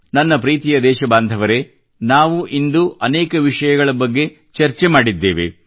ನನ್ನ ಪ್ರೀತಿಯ ದೇಶ ಬಾಂಧವರೇ ನಾವಿಂದು ಅನೇಕ ವಿಷಯಗಳ ಬಗ್ಗೆ ಚರ್ಚೆ ಮಾಡಿದ್ದೇವೆ